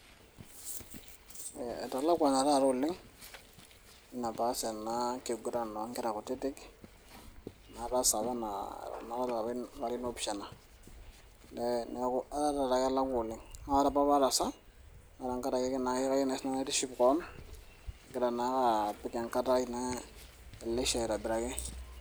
Eh etalakwana taata oleng',enapas ena kiguran onkera kutitik, nataasa apa ena aata apa larin opishana. Neeku etaa kelema oleng'. Na ore apa pataasa, na kayieu apa naitiship keon, agira naa apik enkara ai naa eneisha aitobiraki.